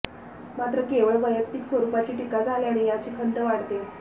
मात्र केवळ वैयक्तिक स्वरूपाची टीका झाल्याने याची खंत वाटते